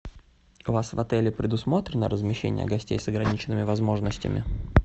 у вас в отеле предусмотрено размещение гостей с ограниченными возможностями